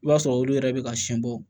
I b'a sɔrɔ olu yɛrɛ bɛ ka siɛn bɔ